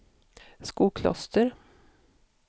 Skokloster